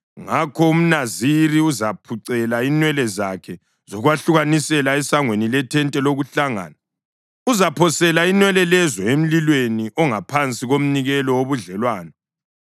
Ngakho umNaziri uzaphucela inwele zakhe zokwahlukanisela esangweni lethente lokuhlangana. Uzaphosela inwele lezo emlilweni ongaphansi komnikelo wobudlelwano.